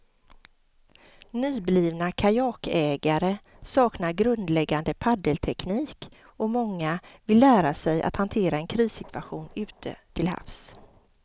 Nyblivna kajakägare saknar grundläggande paddelteknik och många vill lära sig att hantera en krissituation ute till havs.